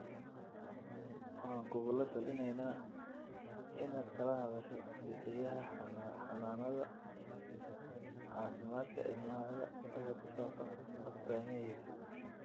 Waxaan kugula talineynaa inaad kala hadasho bixiyaha xanaanada caafimaadka ilmahaaga wixii ku saabsan astaamihiisa.